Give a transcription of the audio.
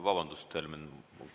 Vabandust, Helmen!